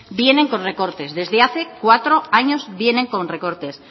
vienen con recortes desde hace cuatro años vienen con recortes